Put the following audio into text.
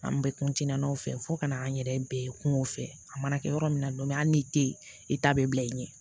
An bɛ o fɛ fo ka n'an yɛrɛ bɛɛ kungo fɛ a mana kɛ yɔrɔ min na hali n'i tɛ yen i t'a bɛɛ bila i ɲɛ